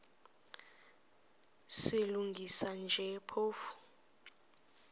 silungisa nje phofu